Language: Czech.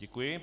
Děkuji.